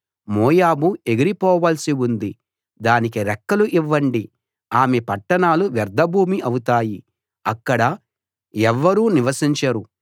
మోయాబు ఎగిరి పోవాల్సి ఉంది దానికి రెక్కలు ఇవ్వండి ఆమె పట్టణాలు వ్యర్ధభూమి అవుతాయి అక్కడ ఎవ్వరూ నివసించరు